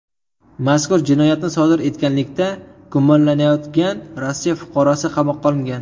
Mazkur jinoyatni sodir etganlikda gumonlanayotgan Rossiya fuqarosi qamoqqa olingan.